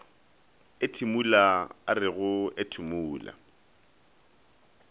ethimola a re go ethimola